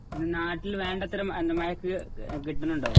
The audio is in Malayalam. നാട്ടില് വേണ്ടത്ര മഴ കിട്ടുന്നുണ്ടോ?